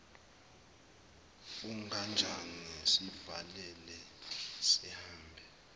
kunganjani sivale sihambe